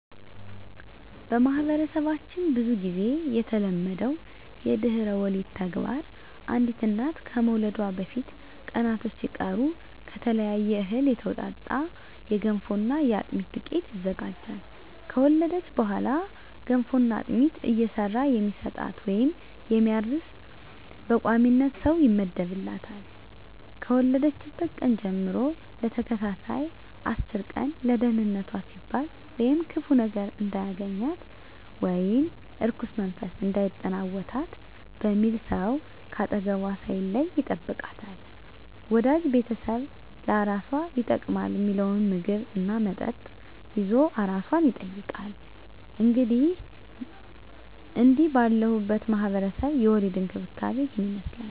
በማህበረሰባችን ብዙ ግዜ የተለመደው የድህረ ወሊድ ተግባር አንዲት እናት ከመውለዷ በፊት ቀናቶች ሲቀሩ ከተለያየ እህል የተውጣጣ የገንፎና የአጥሚት ዱቄት ይዘጋጃል። ከወለደች በኋላ ገንፎና አጥሚት እየሰራ የሚሰጣት ወይም የሚያርስ በቋሚነት ሰው ይመደብላታል፣ ከወለደችበት ቀን ጀም ለተከታታይ አስር ቀን ለደንነቷ ሲባል ወይም ክፉ ነገር እንዳያገኛት(እርኩስ መንፈስ እንዳይጠናወታት) በሚል ሰው ከአጠገቧ ሳይለይ ይጠብቃታል፣ ወዳጅ ቤተሰብ ለአራሷ ይጠቅማል ሚለውን ምግብ እና መጠጥ ይዞ አራሷን ይጠይቃል። እንግዲህ ባለሁበት ማህበረሰብ የድህረ ወሊድ እንክብካቤ እሂን ይመስላል።